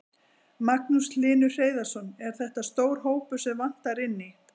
Magnús Hlynur Hreiðarsson: Er þetta stór hópur sem vantar inn í?